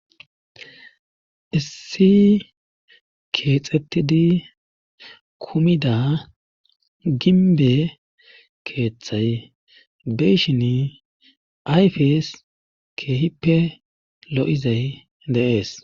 issi keexxettidi kumida ginbe keeththay be'ishini ayfees keehippe lo'izay de'ees